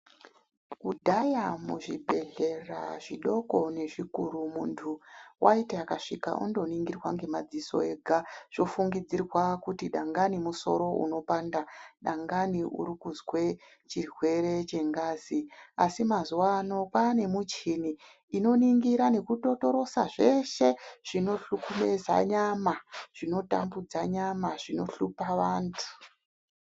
Kudhaya muzvibhehleya zvidoko nezvikuru muntu waiti akasvika ondoningirwa ngemadziso ega zvofungidzirwa kuti dangani musoro unopanda ,dangani urikuzwe chirwere chengazi, asi mazuwa ano kwaane muchini inoningira nekutotorosa zveshe zvinohlukubeza nyama, zvinotambudza nyama zvinohlupa vantu.